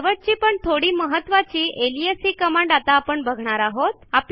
शेवटची पण थोडी महत्त्वाची अलियास ही कमांड आता आपण बघणार आहोत